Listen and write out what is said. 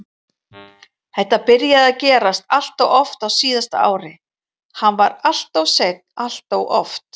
Þetta byrjaði að gerast alltof oft á síðasta ári, hann var alltof seinn alltof oft.